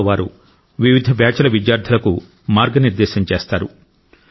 ఇందులో వారు వివిధ బ్యాచ్ల విద్యార్థులకు మార్గనిర్దేశం చేస్తారు